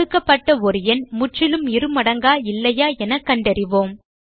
கொடுக்கப்பட்ட ஒரு எண் முற்றிலும் இருமடங்கா இல்லையா என கண்டறிவோம்